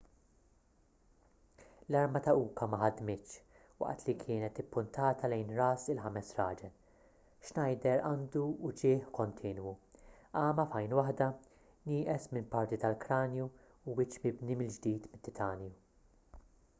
l-arma ta' uka ma ħadmitx waqt li kienet ippuntata lejn ras il-ħames raġel schneider għandu uġigħ kontinwu għama f'għajn waħda nieqes minn parti tal-kranju u wiċċ mibni mill-ġdid mit-titanju